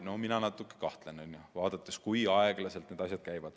No mina natuke kahtlen, teades, kui aeglaselt need asjad käivad.